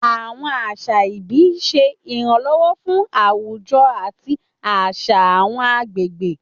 Àwọn àṣà ìbí ń ṣe ìrànlọ́wọ́ fún àwùjọ àti àṣà àwọn agbègbè.